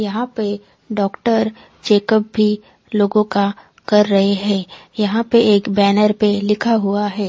यहाँ पे doctor checkup भी लोगो का कर रहे है यहाँ पे एक बैनर पे लिखा हुआ है।